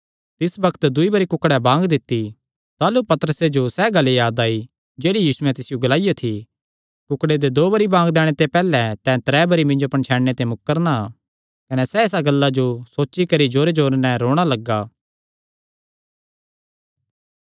तिसी बग्त दूई बरी कुक्ड़ें बांग दित्ती पतरसे जो सैह़ गल्ल याद आई जेह्ड़ी यीशुयैं तिसियो ग्लाईयो थी कुक्ड़े दे दो बरी बांग दैणे ते पैहल्लैं तैं त्रै बरी मिन्जो पणछैणने ते मुकरणा कने सैह़ इसा गल्ला जो सोची करी जोरेजोरे नैं रोणा लग्गा